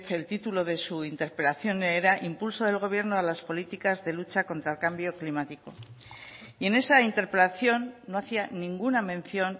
el título de su interpelación era impulso del gobierno a las políticas de lucha contra el cambio climático y en esa interpelación no hacía ninguna mención